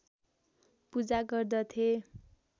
पूजा गर्दथे